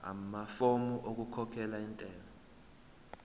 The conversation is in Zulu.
amafomu okukhokhela intela